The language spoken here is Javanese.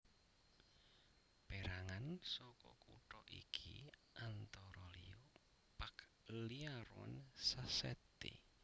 Pérangan saka kutha iki antara liya Pagliarone Sacchetti